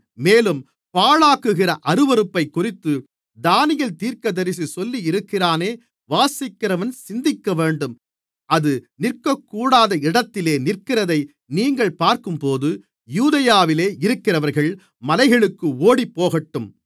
மேலும் பாழாக்குகிற அருவருப்பைக்குறித்து தானியேல் தீர்க்கதரிசி சொல்லியிருக்கிறானே வாசிக்கிறவன் சிந்திக்கவேண்டும் அது நிற்கக்கூடாத இடத்திலே நிற்கிறதை நீங்கள் பார்க்கும்போது யூதேயாவில் இருக்கிறவர்கள் மலைகளுக்கு ஓடிப்போகட்டும்